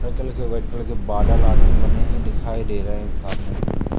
हरे colour के white colour के बादल आदल बने हैं दिखाई दे रहे हैं सामने।